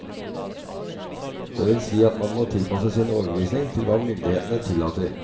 Det vil si at man må tilpasse sin overbevisning til hva myndighetene tillater.